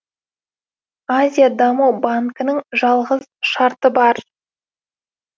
азия даму банкінің жалғыз шарты бар